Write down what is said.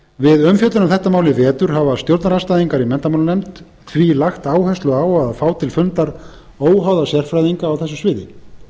við umfjöllun um þetta mál í vetur hafa stjórnarandstæðingar í menntamálanefnd því lagt áherslu á að fá til fundar óháða sérfræðinga á þessu sviði